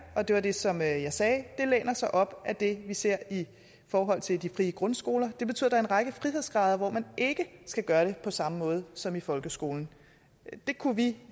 og det var det som jeg sagde læner sig op ad det vi ser i forhold til de frie grundskoler det betyder er en række frihedsgrader hvor man ikke skal gøre det på samme måde som i folkeskolen det kunne vi